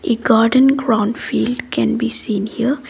a garden ground field can be seen here.